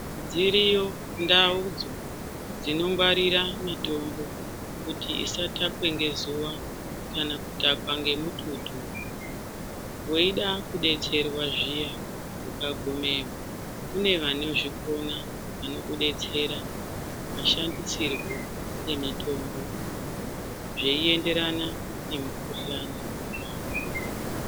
Dziriyo ndaudzo dzinongwarira mitombo kuti isatakwe ngezuwa kana kutakwa ngemututu. Weida kudetserwa zviya, ukagumeyo kune vanozvikona vanokudetsera, mashandisirwo emitombo zveienderana nemukuhlani wacho.